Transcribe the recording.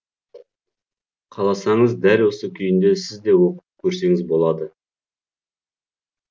қаласаңыз дәл осы күйінде сіз де оқып көрсеңіз болады